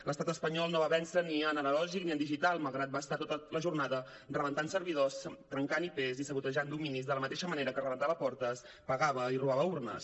l’estat espanyol no va vèncer ni en analògic ni en digital malgrat va estar tota la jornada rebentant servidors trencant ip i sabotejant dominis de la mateixa manera que rebentava portes pegava i robava urnes